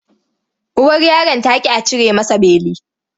Uwar yaron ta ƙi a cire masa beli.